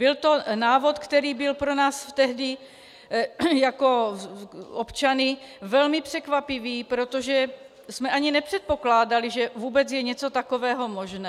Byl to návod, který byl pro nás tehdy jako občany velmi překvapivý, protože jsme ani nepředpokládali, že vůbec je něco takového možné.